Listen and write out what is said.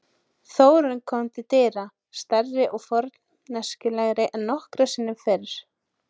Þórunn kom til dyra, stærri og forneskjulegri en nokkru sinni fyrr.